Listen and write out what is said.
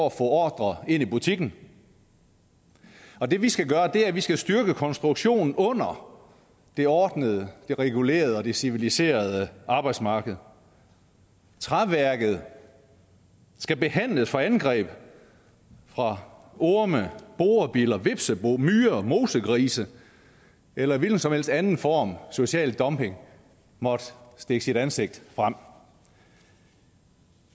at få ordrer ind i butikken og det vi skal gøre er at vi skal styrke konstruktionen under det ordnede det regulerede og det civiliserede arbejdsmarked træværket skal behandles for angreb fra orme borebiller hvepseboer myrer mosegrise eller en hvilken som helst anden form social dumping måtte stikke sit ansigt frem